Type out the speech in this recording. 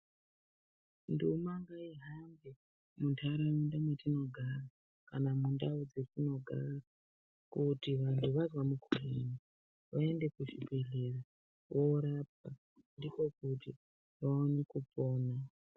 Nduma ngaihambe munharaunda mwetinogara kanamundau dzetinogara kuti vanhu vazwa mukhuhlani vaende kuzvibhehlera vorapwa ndiko kuti vaone kupona.